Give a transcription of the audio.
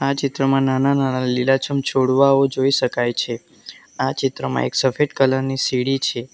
આ ચિત્રમાં નાના-નાના લીલાછમ છોડવાઓ જોઈ શકાય છે આ ચિત્રમાં એક સફેદ કલર ની સીડી છે.